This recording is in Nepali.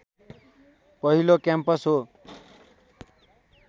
पहिलो क्याम्पस हो